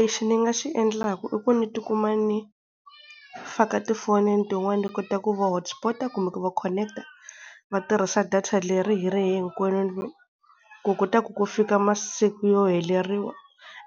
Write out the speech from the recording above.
Lexi ni nga xi endlaka i ku ni tikuma ni faka tifonini tin'wani ni kota ku va hostpot-a kumbe ku va connect-a, va tirhisa data leri hi ri hinkwenu ku kota ku ku fika masiku yo heleriwa